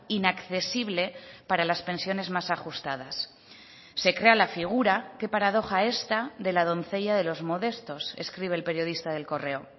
inaccesible para las pensiones más ajustadas se crea la figura que paradoja esta de la doncella de los modestos escribe el periodista de el correo